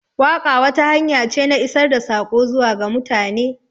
Waƙa wata hanya ce na isar da sako zuwa ga mutane.